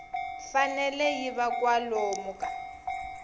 fanele yi va kwalomu ka